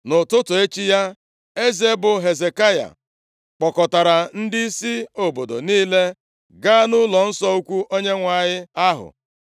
Nʼụtụtụ echi ya, eze bụ Hezekaya kpọkọtara ndịisi obodo niile, gaa nʼụlọnsọ ukwu Onyenwe anyị ahụ.